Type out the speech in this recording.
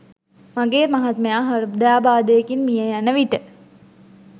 මගේ මහත්මයා හෘදයාබාධයකින් මිය යන විට